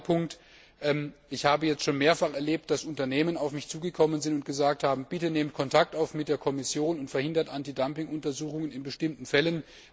Der zweite Punkt Ich habe schon mehrfach erlebt, dass Unternehmen auf mich zugekommen sind und gesagt haben Bitte nehmt Kontakt auf mit der Kommission und verhindert Antidumping Untersuchungen in bestimmten Fällen.